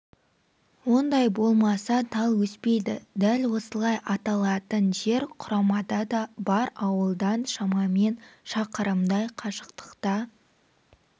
ондай болмаса тал өспейді дәл осылай аталатын жер құрамада да бар ауылдан шамамен шақырымдай қашықтықта